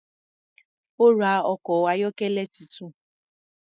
Ó́ ra ọkọ̀ ayọ́kẹ́lẹ́ tuntun.